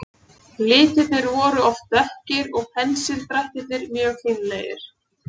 Litirnir voru oft dökkir og pensildrættirnir mjög fínlegir.